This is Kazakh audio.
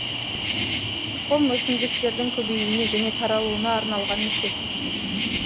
тұқым өсімдіктердің көбеюіне және таралуына арналған мүше